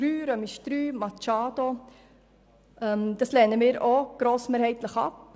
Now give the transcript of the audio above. Zu den Anträgen Machado: Diese lehnen wir auch grossmehrheitlich ab.